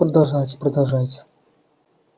продолжайте продолжайте